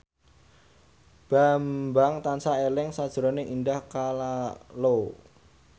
Bambang tansah eling sakjroning Indah Kalalo